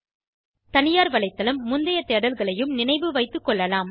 தனியார் வலைத்தளம் முந்தைய தேடல்களையும் நினைவுவைத்து கொள்ளலாம்